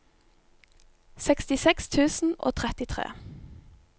sekstiseks tusen og trettitre